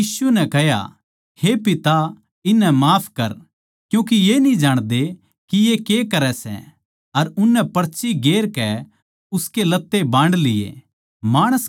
फेर यीशु नै कह्या हे पिता इन्हनै माफ कर क्यूँके ये न्ही जाणदे के ये के करै सै अर उननै पर्ची गेर कै उसके लत्ते बांड लिए